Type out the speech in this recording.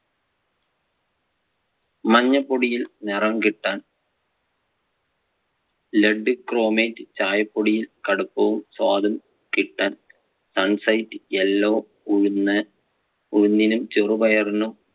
മഞ്ഞൾ പൊടിയിൽ നിറം കിട്ടാൻ, lead chromate, ചായപൊടിയിൽ കടുപ്പവും സ്വാദും കിട്ടാൻ sunset yellow, ഉഴുന്ന്~ ഉഴുന്നിനും ചെറുപയറിനും